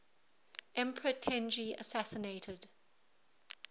emperor tenji assassinated